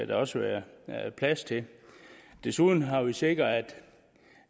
der også være plads til desuden har vi sikret